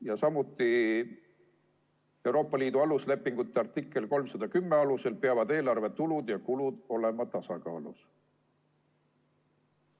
Ja samuti peavad Euroopa Liidu toimimise lepingu artikli 310 alusel eelarve tulud ja kulud olema tasakaalus.